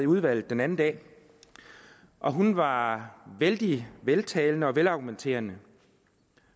udvalget den anden dag og hun var vældig veltalende og velargumenteret